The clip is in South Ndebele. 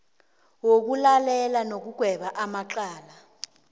wokulalela nokugweba amacala